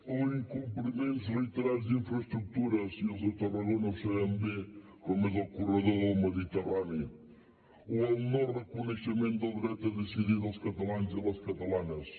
o incompliments reiterats d’infraestructures i els de tarragona ho sabem bé com és el corredor del mediterrani o el noreconeixement del dret a decidir dels catalans i les catalanes